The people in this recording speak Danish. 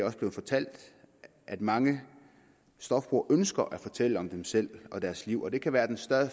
også blevet fortalt at mange stofbrugere ønsker at fortælle om dem selv og deres liv og det kan være den